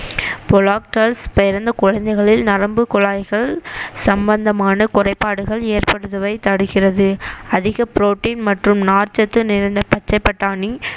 பிறந்த குழந்தைகளில் நரம்புக் குழாய்கள் சம்பந்தமான குறைபாடுகள் ஏற்படுவதை தடுக்கிறது அதிக ப்ரோடீன் மற்றும் நார்ச்சத்து நிறைந்த பச்சை பட்டாணி